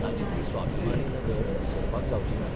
ताची ती स्वाभिमानी नदर विसरपाक जावचीना.